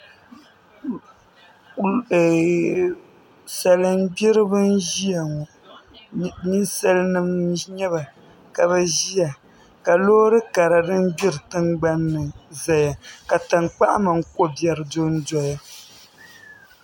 Salin gbiribi n ʒiya ŋo ninsal nim n nyɛba ka bi ʒiya ka loori karili din gbiri tingbanni ʒɛya ka tankpaɣu mini ko biɛri dondoya